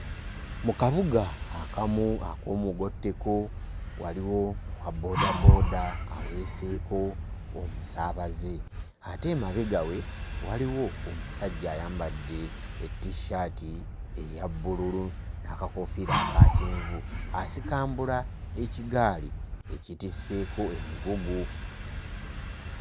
Mu kabuga akamu ak'omugotteko waliwo owabboodabooda aweeseeko omusaabaze ate emabega we waliwo omusajja ayambadde ettissaati eya bbululu n'akakoofiira aka kyenvu, asikambula ekigaali ekitisseeko emigugu.